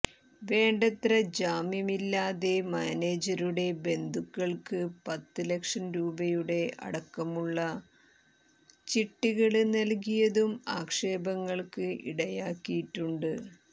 വേണ്ടത്ര ജാമ്യമില്ലാതെ മാനേജരുടെ ബന്ധുക്കള്ക്ക് പത്ത് ലക്ഷം രൂപയുടെ അടക്കമുള്ള ചിട്ടികള് നല്കിയതും ആക്ഷേപങ്ങള്ക്ക് ഇടയാക്കിയിട്ടുണ്ട്